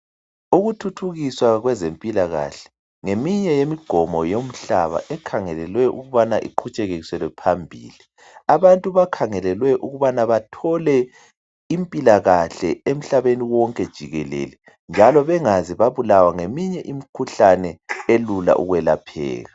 Ukuthuthukiswa kwezempilakahle ngeminye yemigqomo yomhlaba ekhangelelwe ukubana iqhutshekiselwe phambili. Abantu bakhangelelwe ukubana bathole impilakahle emhlabeni wonke jikelele njalo bengaze babulawa ngeminye imikhuhlane elula ukwelapheka